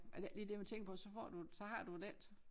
Er det ikke lige det man tænker på så får du så har du det ikke